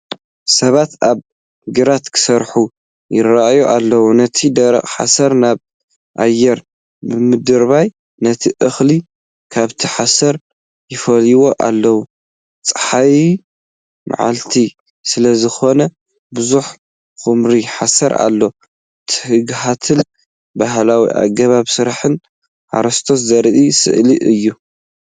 ሰባት ኣብ ግራት ክሰርሑ ይረኣዩ ኣለው፣ ነቲ ደረቕ ሓሰር ናብ ኣየር ብምድርባይ ነቲ እኽሊ ካብቲ ሓሰር ይፈልይዎ ኣለዉ። ጸሓያዊ መዓልቲ ስለ ዝኾነ ብዙሕ ኵምራ ሓሰር ኣሎ። ትግሃትን ባህላዊ ኣገባብ ስራሕን ሓረስቶት ዘርኢ ስእሊ እዩ።